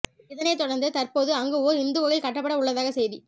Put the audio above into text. இதனைத்தொடர்ந்து தற்போது அங்கு ஓர் இந்து கோயில் கட்டப்பட உள்ளதாக செய்தி